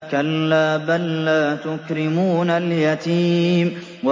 كَلَّا ۖ بَل لَّا تُكْرِمُونَ الْيَتِيمَ